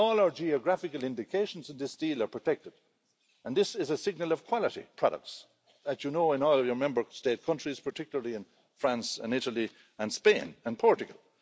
All our geographical indications of this deal are protected, and this is a signal of quality products, as you know in your Member State countries, particularly in France, Italy, Spain and Portugal.